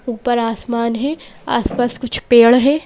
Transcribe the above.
ऊपर आसमान है आसपास कुछ पेड़ हैं।